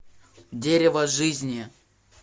дерево жизни